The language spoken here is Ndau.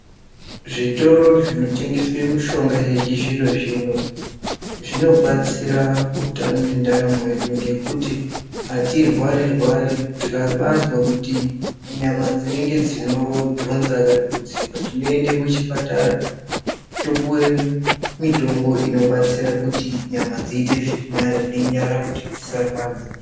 Zvitoro zvinotengeswa mishonga yechizvino-zvino zvinobatsira utano nendaramo yedu. Ngekuti hatirwari-rwari tikabazwa kuti nyama dzinonge dzinodhonza kana kuti kudzimba. Tinoende kuchipatara topuve mitombo inobatsira kuti nyama dziite zvirinani nenyara kuti dzisarwadza.